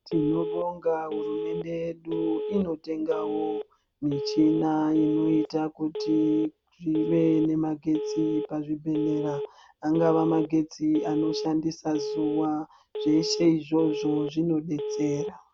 Tinobonga hurumende yedu inotengawo michina inoita kuti zvive nemagesti pazvibhedhlera. Angava magetsi anoshandisa zuwa zveshe izvozvo zvinodetsera.